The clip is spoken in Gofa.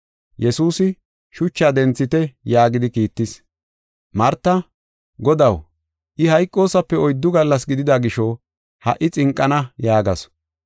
Yesuusi, “Shuchaa denthite” yaagidi kiittis. Marta, “Godaw, I hayqosaape oyddu gallas gidida gisho, ha77i xinqana” yaagasu.